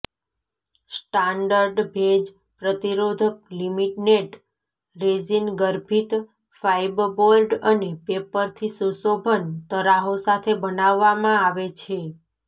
standard ભેજ પ્રતિરોધક laminate resin ગર્ભિત ફાઇબબોર્ડ અને પેપરથી સુશોભન તરાહો સાથે બનાવવામાં આવે છે